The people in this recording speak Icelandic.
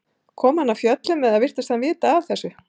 Kom hann af fjöllum eða virtist hann vita af þessu?